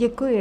Děkuji.